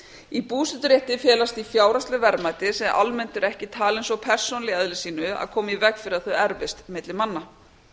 í búseturétti felast því fjárhagsleg verðmæti sem almennt eru ekki talin svo persónuleg í eðli sínu að komi í veg fyrir að þau erfist milli manna